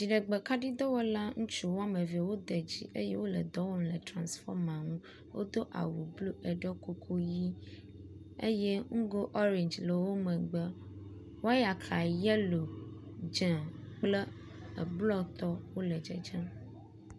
Dziɖegbekaɖidɔwɔla ŋutsu wɔme eve wode dzi eye wo le dɔ wɔm le transfɔma ŋu. wodo awu blu eɖo kuku ʋi eye nugo ɔrangi ele wo megbe. Wɔyaka yelo, dze kple eblɔtɔ wo le dzedzem.